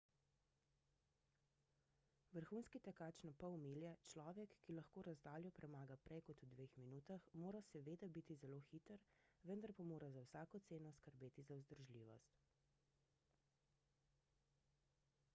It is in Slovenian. vrhunski tekač na pol milje človek ki lahko razdaljo premaga prej kot v dveh minutah mora seveda biti zelo hiter vendar pa mora za vsako ceno skrbeti za vzdržljivost